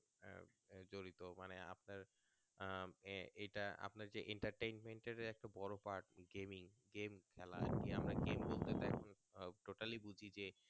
আহ এটা আপনার যে inter treatment এর একটা বড়ো part gaming game খেলার যে আমরা game বলতে তো এখন totally বুঝছি যে